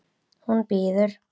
Hún bíður!